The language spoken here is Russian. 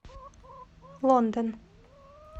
лондон